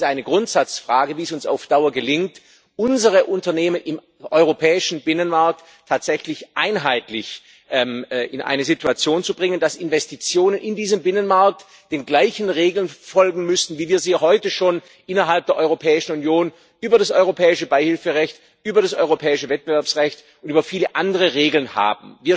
Es ist eine Grundsatzfrage, wie es uns auf Dauer gelingt, unsere Unternehmen im europäischen Binnenmarkt tatsächlich einheitlich in eine Situation zu bringen, dass Investitionen in diesem Binnenmarkt den gleichen Regeln folgen müssen, wie wir sie heute schon innerhalb der Europäischen Union über das europäische Beihilferecht, über das europäische Wettbewerbsrecht und über viele andere Regeln haben.